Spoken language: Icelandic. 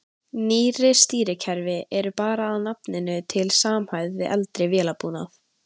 Nýrri stýrikerfi eru bara að nafninu til samhæfð við eldri vélbúnað.